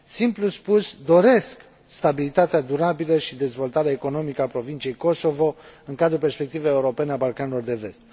Simplu spus doresc stabilitatea durabilă și dezvoltarea economică a provinciei Kosovo în cadrul perspectivei europene a Balcanilor de Vest.